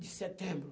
De setembro.